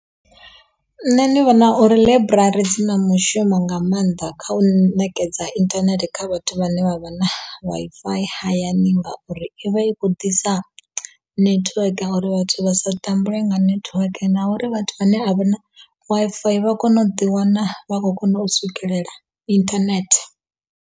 Nṋe ndi vhona uri ḽaiburari dzi na mushumo nga maanḓa kha u nekedza internet kha vhathu vhane vha vha na Wi-Fi hayani ngauri i vha i khou ḓisa network uri vhathu vha sa tambule nga network na uri vhathu vhane a vha na Wi-Fi vha kone u ḓi wana vha khou kona u swikelela internet.